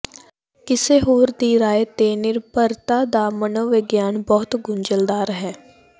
ਕਿਸੇ ਹੋਰ ਦੀ ਰਾਇ ਤੇ ਨਿਰਭਰਤਾ ਦਾ ਮਨੋਵਿਗਿਆਨ ਬਹੁਤ ਗੁੰਝਲਦਾਰ ਹੈ